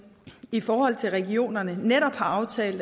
i forhold til regionerne netop har aftalt